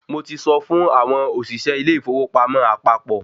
Mo ti sọ fún àwọn òṣìṣẹ́ ilé ìfowópamọ́ àpapọ̀